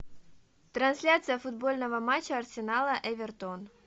трансляция футбольного матча арсенала эвертон